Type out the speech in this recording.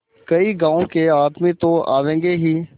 कई गाँव के आदमी तो आवेंगे ही